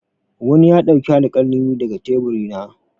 Wani ya ɗauki alƙalami daga tebur na.